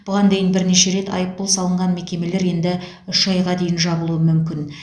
бұған дейін бірнеше рет айыппұл салынған мекемелер енді үш айға дейін жабылуы мүмкін